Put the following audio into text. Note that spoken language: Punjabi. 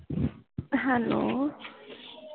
hello